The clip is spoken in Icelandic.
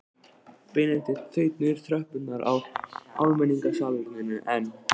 Benedikt þaut niður tröppurnar á almenningssalerninu en